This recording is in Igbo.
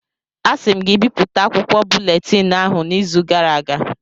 Asị m gị bipụta akwụkwọ buletịn ahụ n' izu gara aga!